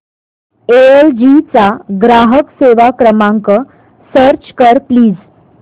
L G चा ग्राहक सेवा क्रमांक सर्च कर प्लीज